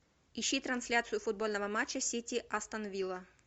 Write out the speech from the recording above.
ищи трансляцию футбольного матча сити астон вилла